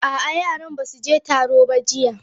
A'a, yaran ba su je taro ba jiya.